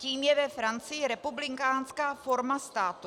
Tím je ve Francii republikánská forma státu.